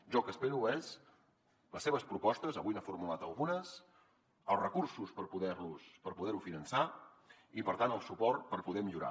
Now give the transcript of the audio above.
jo el que espero són les seves propostes avui n’ha formulat algunes els recursos per poder ho finançar i per tant el suport per poder millorar